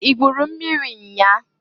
I gwuru mmiri nnya a?